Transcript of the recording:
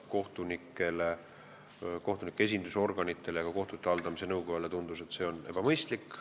Kohtunikele, kohtunike esindusorganitele ja ka kohtute haldamise nõukojale tundus, et see on ebamõistlik.